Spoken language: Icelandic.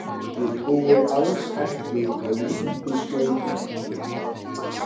Ég trúi alls ekki á lukkuskeifu.